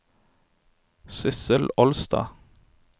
Sissel Olstad